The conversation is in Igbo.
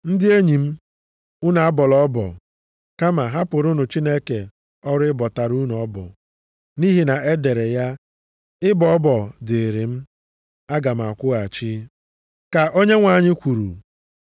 Ndị enyi m, unu abọla ọbọ, kama hapụrụnụ Chineke ọrụ ịbọtara unu ọbọ. Nʼihi na e dere ya, “Ịbọ ọbọ dịrị m, aga m akwụghachi,” + 12:19 \+xt Dit 32:35\+xt* ka Onyenwe anyị kwuru.